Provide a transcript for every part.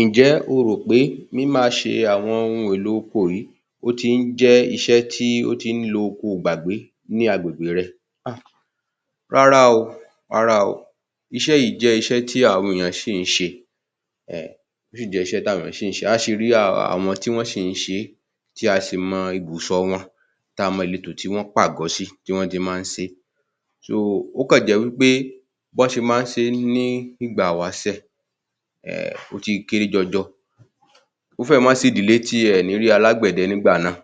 Ǹ jẹ́ o rò pé mímáaṣe àwọn ohun èlò oko yìí, ó ti ń jẹ́ iṣé tí ó ti ń looko ìgbàgbé ní agbègbè rẹ? Hà, rárá o, rárá o, iṣé yìí jẹ́ iṣẹ́ tí àwọ́n èyàn sì ń ṣe [um],ó sì jẹ́ iṣé tí àwọn èyàn sì ń ṣe, a sì rí àwọn tí wọ́n sì ń ṣe é, tí a sì mọ ibùsọ̀ wọn, tí a mọ ìletò tí wọ́n pàgọ́ sí, tí wọ́n ti máa ń ṣe é,, ó kàn jẹ́ wípé bí wọ́n ṣe máa ń ṣe é ní ìgbà ìwáṣè, [um]ó ti kéré jọjọ. Ó fẹ́rẹ̀ má sì ìdílé tí ẹ ò ní rí alágbẹ̀dẹ nígbà náà,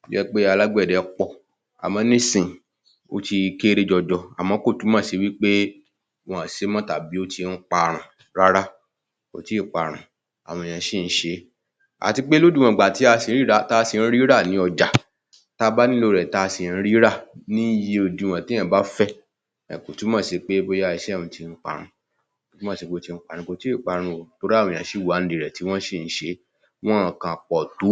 tó jẹ́ pé alágbẹ̀dẹ pọ̀, àmọ́ nísìnyí, ó ti kẹ́rẹ́ jọjọ, àmọ́ kò túmọ̀ sí wípé wọn ò ṣe é mọ́ tàbí ó ti ń parun, rárá kò tí ì parun, àwọn èyàn sì ń ṣe é. Àti pé ní lódiwọ̀n ìgbà tí a sì ń rí i rà ní ọjà, táa bá nílò rẹ̀, tí a sì ń rí i rà ní iye òdiwọ̀n téèyàn bá fẹ́ um kò túmọ̀ sí pé bóyá iṣé ọ̀hún ti parun, kò túmọ̀ sí pé ó ti ń parun, kò tí ì máa parun o, torí àwọn èyàn sì wà nídìí rẹ̀ tí wọ́n sì ń ṣe é, wọn ò kàn pọ̀ tó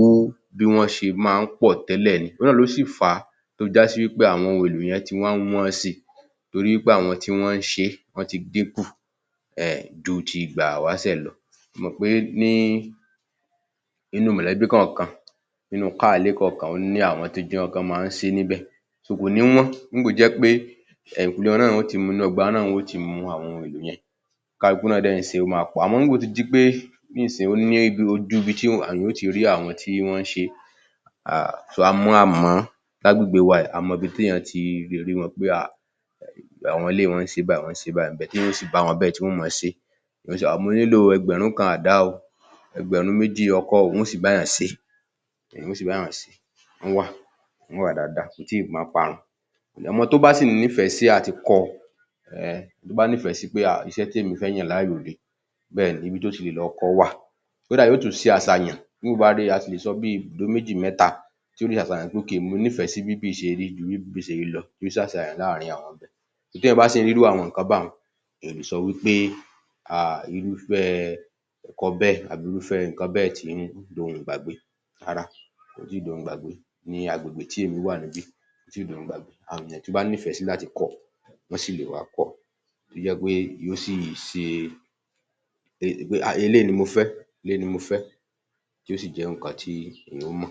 bí wọ́n ṣe máa ń pọ̀ tẹ́lẹ̀ ni, ohun náà ló sì fà á tó fi já sí wípé àwọn ohun èlò yẹn ti wá ń wọ́n si, torí pé àwọn tí wọ́n ń ṣe é wọ́n ti dín kù um ju ti ìgbà ìwáṣè lọ, ẹ mò pé ní, nínú mọ̀lẹ́bí kọ̀ọ̀kan, nínú káà ile kọ̀ọ̀kan, ó ní àwọn tó jẹ́ pé wọ́n máa ń ṣe é níbẹ̀ kò ni wọ́n nígbà tó jẹ́ pé èyìnkùlé wọn náà ni wọn ó ti mú, inú ọgbà wọn náà ni wọn yóò ti mú àwón ohun èlò yẹn, oníkálukú náà dẹ̀ ń ṣe é, ó máa pọ̀, àmọ nígbà tó ti di pé nísìnyí ó ní ibi, ojù ibi tí àwọn èyàn yóò ti rí àwọn tí wọ́n ń ṣe é um, a mo, a mọ̀ ọ́n, lágbègbè wa yìí, a mọ ibi téèyàn ti rí wọn pé um àwọn eléyìí wọ́n ń ṣe báyìí, wọ́n ń ṣe báyìí tí a ó sì bá wọn níbẹ̀ tí wọn ó máa sẹ é, um mo nílò ẹgbẹ̀rún kan àdá o, ẹgbẹ̀rún méjì ọkọ o, wọn ó sì bá èyàn ṣe e,́ wọn ó sì bá èyàn ṣe e,́ wọ́n wà, wọ́n wà daádáa, kò tí ì máa parun, ọmọ tó bá sí nífẹ̀ẹ́ sí àti kọ́ ọ,[um] tó bá nífẹ̀ẹ́ si pé um iṣẹ́ tí èmi fẹ́ yàn láàyò rè é, bẹ́ẹ̀ni, ibi tó ti lè lọ kọ́ ọ wà, kódà yóò tún ṣe àṣàyàn nígbà tó bá ri i, a sì lè sọ bí I tó méjì mẹ́ta tó le ṣàṣàyàn, pé mo nífẹ̀ẹ́ sí bí ibí yìí ṣe rí, ju bí ibí yìí ṣe rí lọ yóò ṣe àṣàyàn láarin àwọn ibẹ̀, bí èyàn bá sí ń rí irú àwọn nǹkan báyẹn, èyàn ò le è sọ wípé um irúfẹ́ ẹ̀kọ́ bẹ́ẹ̀ àbí irúfẹ́ nǹkan bẹ́ẹ̀ ti ń dohun ìgbàgbé, rárá, kò tí ì dohun ìgbàgbé, ní agbègbè tí èmi wà níbí, kò tí ì dohun ìgbàgbé, àwọn èyàn tó bá nífẹ̀ẹ́ si láti kọ ọ, wọ́n sí lè wá kọ́ ọ, tó jẹ́ pé yóò sí sẹ um eléyìí ni mo fẹ́, eléyìí ni mo fẹ́, tí yóò sì jẹ́ nǹkan tí èyàn ó mọ̀